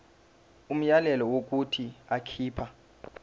umyalelo wokuthi akhipha